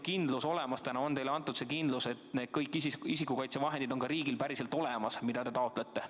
Kas te olete täna kindlad, on teile antud see kindlus, et kõik need isikukaitsevahendid on riigil ka päriselt olemas, need, mida te taotlete?